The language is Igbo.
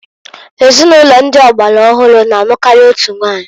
Ezinụlọ ndi ọgbara ọhụrụ na anụkari otu nwanyi.